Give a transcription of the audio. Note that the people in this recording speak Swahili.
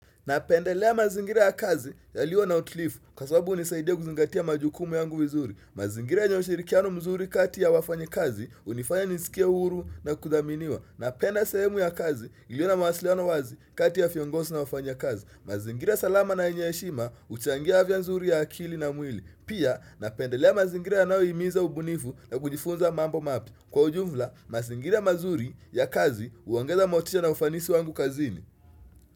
Napendelea mazingira ya kazi yalio na utulivu kwa sababu hunisaidia kuzingatia majukumu yangu wizuri. Mazingira yenyo ushirikiano mzuri kati ya wafanyikazi hunifanya nisikie uhuru na kudhaminiwa. Napenda sehemu ya kazi iliyo na mawasiliano wazi kati ya viongozi na wafanya kazi. Mazingira salama na yenye heshima huchangia afya nzuri ya akili na mwili. Pia napendelea mazingira yanayo himiza ubunifu na kujifunza mambo mapya. Kwa ujumla, mazingira mazuri ya kazi huongeza motisha na ufanisi wangu kazini.